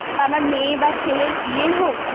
বা আামার মেয়ে বা ছেলের বিয়ে হোক